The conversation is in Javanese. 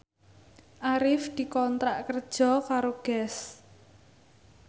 Arif dikontrak kerja karo Guess